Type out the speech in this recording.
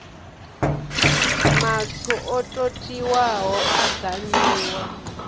matswu o totiwaho a gamiwa